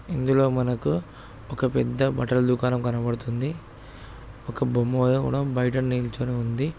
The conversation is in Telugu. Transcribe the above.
ఇందులో మనకూ ఓక పెద్ద బట్టల దుకానం కనపడ్తుంది. ఓక బొమ్మా వల్లే కుడా బయట నీలోచినునది.